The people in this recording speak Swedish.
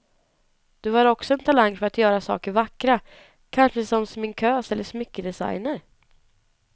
Du har också en talang för att göra saker vackra, kanske som sminkös eller smyckedesigner.